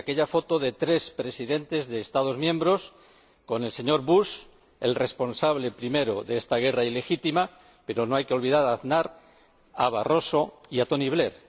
Sí, aquella foto de tres Presidentes de Estados miembros con el señor Bush el responsable primero de esta guerra ilegítima pero no hay que olvidar a Aznar, a Barroso y a Tony Blair.